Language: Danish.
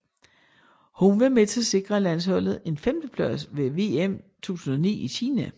Hun var med til at sikre landsholdet en femteplads ved VM 2009 i Kina